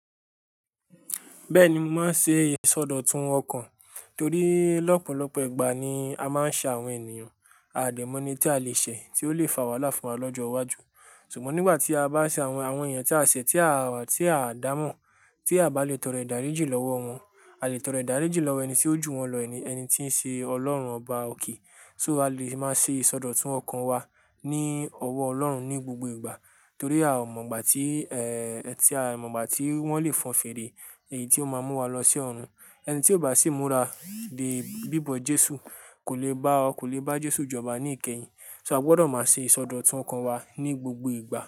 Bẹ́ẹ̀ni, mo máa n se ìsọdọ̀tun ọkàn torí lọ́pọ̀lọpọ̀ ìgbà ni a máa ń ṣẹ àwọn ènìyàn, a o dẹ mọ ẹni tí a lè ṣe tí ó lè fa wàhálà fún wa lọ́jọ́ iwájú. Ṣùgbọ́n nígbà tí a bá ṣe àwọn, àwọn yẹn tí a ṣẹ̀, tí a, tí a dá mọ̀, tí a bá lè tọrọ ìdáríjì lọ́wọ́ wọn, a lè tọrọ ìdáríjì lọ́wọ́ ẹni tí ó jù wọn lọ, ẹni, ẹni tí ń ṣe Ọlọ́run Ọba òkè. So a lè máa ṣe ìsọdọ̀tun ọkàn wa ní ọwọ́ Ọlọ́run ní gbogbo ìgbà. Torí a ò mọ̀ ìgbà tí, ẹ́ ẹ ti a mọ̀ ìgbà tí wọ́n lè fọn fèrè èyí tí ó máa mú wa lọ sí ọ̀run. Ẹni tí ò bá sì múra dé bíbọ Jésù kò lè bá, kò lè bá Jésù jọba ní ìkẹyìn. So a gbọdọ̀ máa ṣe ìsọdọ̀tun ọkàn wa ní gbogbo ìgbà.